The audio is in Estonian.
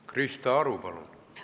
Krista Aru, palun!